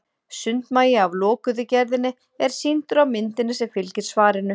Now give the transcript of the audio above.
Sundmagi af lokuðu gerðinni er sýndur á myndinni sem fylgir svarinu.